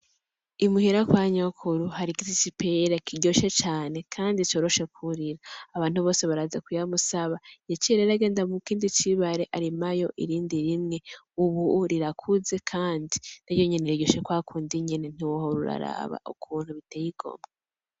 Imuhira kwa nyokuru hari igiti c’ipera kiryoshe cane kandi coroshe kurira. Abantu bose baraza kuyamusaba. Yaciye rero agenda mukindi cibare arimayo irindi rimwe ubu rirakuze kandi na ryo nyene riryoshe kwakundi nyene ntiwohora uraraba ukuntu biteye igomwe.